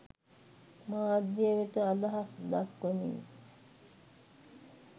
මාධ්‍ය වෙත අදහස් දක්වමින්